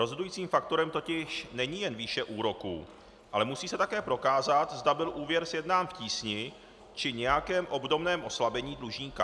Rozhodujícím faktorem totiž není jen výše úroků, ale musí se také prokázat, zda byl úvěr sjednán v tísni či nějakém obdobném oslabení dlužníka.